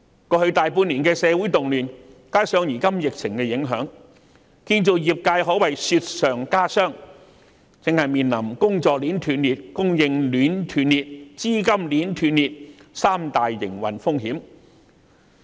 過去大半年的社會動亂，加上如今疫情的影響，建造業界可謂雪上加霜，正面臨工作鏈斷裂、供應鏈斷裂及資金鏈斷裂這三大營運風險。